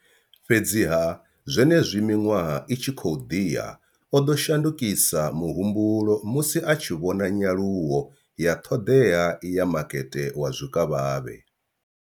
Fhedziha, zwenezwi miṅwaha i tshi khou ḓi ya, o ḓo shandukisa muhumbulo musi a tshi vhona nyaluwo ya ṱhoḓea ya makete wa zwikavhavhe.